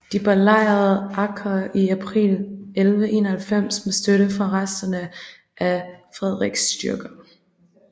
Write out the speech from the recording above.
De belejrede Acre i april 1191 med støtte fra resterne af Frederick styrker